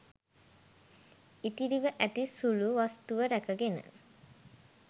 ඉතිරිව ඇති සුළු වස්තුව රැකගෙන